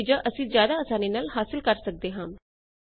ਉਹੀ ਨਤੀਜਾ ਅਸੀ ਜ਼ਿਆਦਾ ਆਸਾਨੀ ਨਾਲ ਹਾਸਿਲ ਕਰ ਸਕਦੇ ਹਾਂ